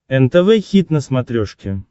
нтв хит на смотрешке